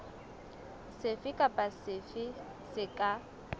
sefe kapa sefe se ka